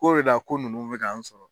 K'o de la ko nunnu be k'an sɔrɔ